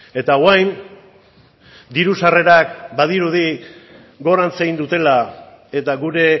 eta orain diru sarrerak badirudi gorantz egin dutela eta gure